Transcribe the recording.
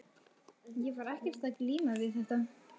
Ég var ekkert að glíma við þetta.